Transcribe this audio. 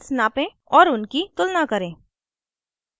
* और उनकी तुलना करें